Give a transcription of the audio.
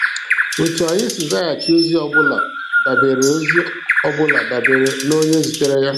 Etu anyị si zaghachi ozi ọbụla dabeere ozi ọbụla dabeere n'onye zitere ya.